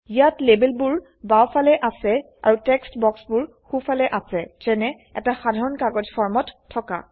ইয়াত লেবেলবোৰ বাওফালে আছে আৰু টেক্সট বাক্সবোৰ সো ফালে আছে যেনে এটা সাধাৰণ কাগজ ফৰ্মত থকা